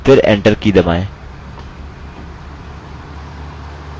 फिर enter key दबाएँ